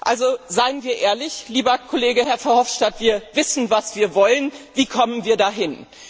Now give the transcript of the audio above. Also seien wir ehrlich, lieber Herr Kollege Verhofstadt, wir wissen, was wir wollen! Wie kommen wir dahin?